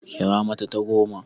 Kira mata ta goma!